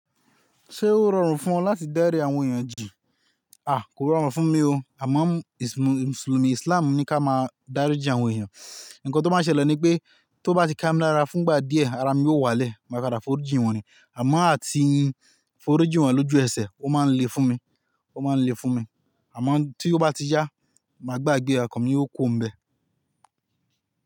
Ṣé ó rọrùn fún ọ láti dárí àwọn èèyàn jìí? Aà kò rọrùn fún mi o, àmọ́ Mùsùlùmí Islam ní ká máa dáríji àwọn èèyàn. Ǹkan tó máa n ṣẹlẹ̀ ni pé tó bá ti kámílára fún ìgbà díẹ̀ ara mi yóò wálẹ̀ máa padà foríji wọn ri. Àmọ́ àti foríji wọn lójú ẹsẹ̀ ó máa ń le fún mi, ó máa ń le fún mi. Àmọ́ tí ó bá ti yá, màá gbàgbé ọkan mi yóò kuro n bẹ́ẹ̀.